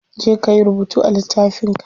Je kayi rubutu a littafin ka.